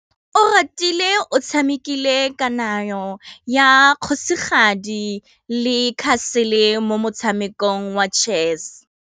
Oratile o tshamekile kananyô ya kgosigadi le khasêlê mo motshamekong wa chess.